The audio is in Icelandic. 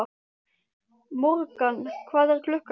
Morgan, hvað er klukkan?